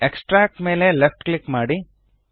extract ಮೇಲೆ left click ಮಾಡಿ